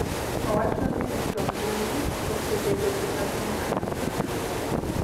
Owacho ni rito mbui# osebedo gima duong’ ahinya .